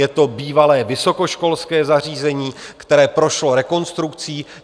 Je to bývalé vysokoškolské zařízení, které prošlo rekonstrukcí.